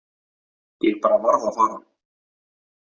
Ég bara varð að fara.